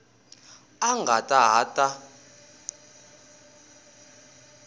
a a nga ha ta